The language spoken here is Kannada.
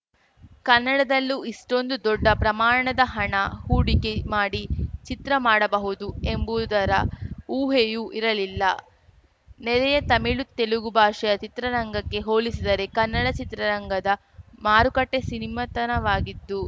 ಕನ್ನಡದಲ್ಲೂ ಇಷ್ಟೊಂದು ದೊಡ್ಡ ಪ್ರಮಾಣದ ಹಣ ಹೂಡಿಕೆ ಮಾಡಿ ಚಿತ್ರ ಮಾಡಬಹುದು ಎಂಬುದರ ಊಹೆಯೂ ಇರಲಿಲ್ಲ ನೆರೆಯ ತಮಿಳು ತೆಲುಗು ಭಾಷೆಯ ಚಿತ್ರರಂಗಕ್ಕೆ ಹೋಲಿಸಿದರೆ ಕನ್ನಡ ಚಿತ್ರರಂಗದ ಮಾರುಕಟ್ಟೆಸೀನಿಮತನವಾಗಿದ್ದು